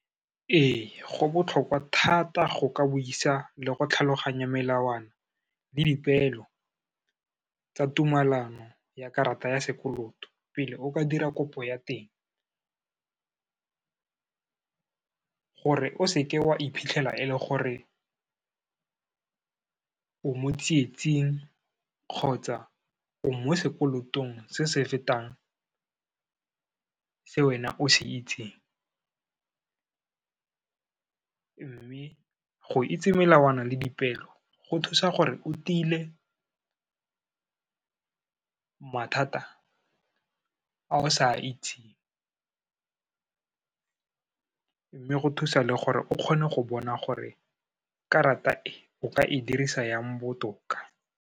Ee, go botlhokwa thata go ka buisa le go tlhaloganya melawana le dipeelo tsa tumelano ya karata ya sekoloto, pele o ka dira kopo ya teng, gore o seke wa iphitlhela e le gore o mo tsietsing kgotsa o mo sekolotong se se fetang se wena o se itseng. Mme go itse melawana le dipeelo, go thusa gore o tile mathata a o sa itseng, mme go thusa le gore o kgone go bona gore karata e o ka e dirisa jang botoka.